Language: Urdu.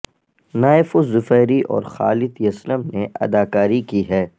نایف الظفیری اور خالد یسلم نے اداکاری کی ہے